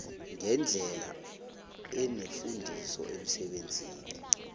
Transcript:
ngendlela enefundiso emsebenzini